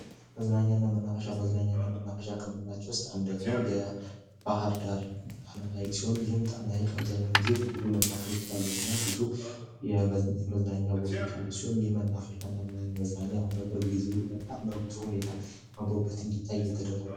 መዝናኛና መናፈሻ መዝናኛና መንፈሻ አንደኛው የባህርዳር ሲሆን ይህም ጣና ሐይቅ አብዛኛውን ጊዜ ብዙ መናፍቃሉና ብዙ የመዝናኛ ቦታዎች አሉ ይህ መናገር በጣም ብዙ ሁኔታ የተደረገ ነው።